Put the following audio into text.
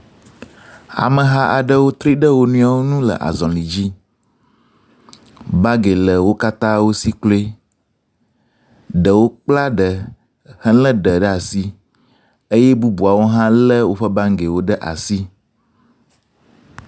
Ameha aɖewo tri ɖe wo nɔewo nu le azɔli dzi. Bagi le wo katã wo si kloe. Ɖewo kpla ɖe helé ɖe ɖa asi. Eye bubuwo hã lé woƒe bagi ɖe asi.